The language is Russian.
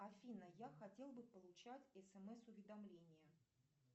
афина я хотел бы получать смс уведомления